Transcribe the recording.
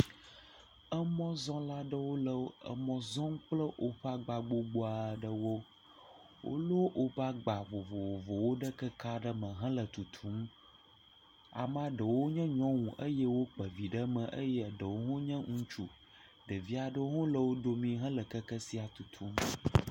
Emɔzɔla aɖewo le emɔ zɔm kple woƒe agba gbogbo aɖewo. Wolɔ woƒe agba vovovowo ɖe keke aɖe me hele tutum. Amea ɖewo nye nyɔnu eye wokpe vi ɖe me eye eɖewo hã nye ŋutsu. Ɖevi aɖewo hã le wo domi hele keke sia tutum.